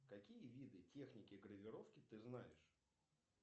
какие виды техники гравировки ты знаешь